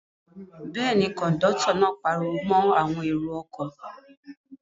Bẹ́ẹ̀ ni, kọ̀ńdọ́tọ̀ náà pariwo mọ́ àwọn èrò-ọkọ̀.